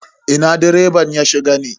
Ina direban ya shiga ne?